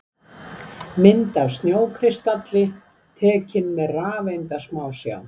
Mynd af snjókristalli tekin með rafeindasmásjá.